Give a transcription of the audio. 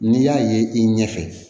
N'i y'a ye i ɲɛfɛ